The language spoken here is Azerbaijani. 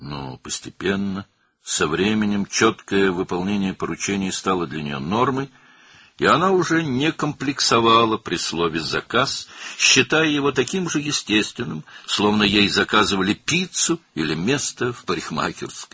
Lakin tədricən, zaman keçdikcə tapşırıqların dəqiq yerinə yetirilməsi onun üçün normaya çevrildi və o, "sifariş" sözündən artıq kompleks keçirmirdi, bunu eyni dərəcədə təbii hesab edirdi, sanki ona pizza və ya bərbərxanada yer sifariş etmişdilər.